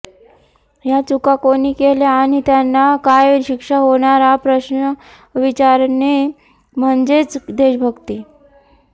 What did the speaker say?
या चुका कोणी केल्या आणि त्यांना काय शिक्षा होणार हा प्रश्न विचारणे म्हणजेच देशभक्ती